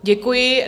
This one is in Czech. Děkuji.